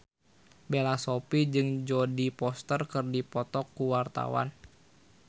Bella Shofie jeung Jodie Foster keur dipoto ku wartawan